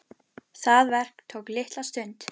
Það verk tók litla stund.